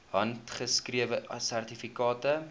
handgeskrewe sertifikate